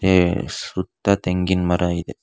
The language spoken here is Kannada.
ಹೇ ಸುತ್ತ ತೆಂಗಿನ್ ಮರ ಇದೆ.